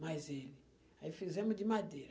Mas ele... Aí fizemos de madeira.